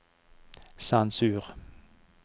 sensur